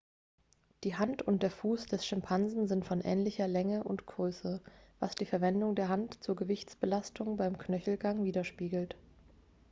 die hand und der fuß des schimpansen sind von ähnlicher größe und länge was die verwendung der hand zur gewichtsbelastung beim knöchelgang widerspiegelt